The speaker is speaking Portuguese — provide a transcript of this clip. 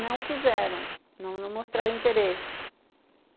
não quiseram, não mostraram interesse.